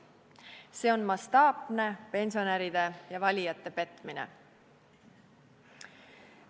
See on mastaapne pensionäride ja valijate petmine.